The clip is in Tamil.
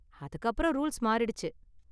அதுக்கு அப்பறம் ரூல்ஸ் மாறிடுச்சு.